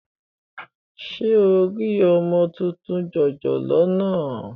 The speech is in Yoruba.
Ṣé o rí ọmọ tuntun jòjòló náà?